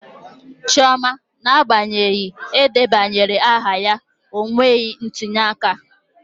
Chioma n'agbanyeghị edebanyere aha ya, o mebeghị ntuli aka.